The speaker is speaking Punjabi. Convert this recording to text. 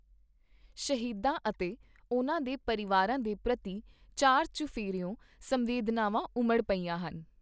ਸ਼ਹੀਦਾਂ ਅਤੇ ਉਨ੍ਹਾਂ ਦੇ ਪਰਿਵਾਰਾਂ ਦੇ ਪ੍ਰਤੀ ਚਾਰ ਚੁਫੇਰਿਓਂ ਸੰਵੇਦਨਾਵਾਂ ਉਮੜ ਪਈਆਂ ਹਨ।